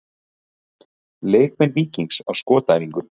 Leikmenn Víkings á skotæfingu.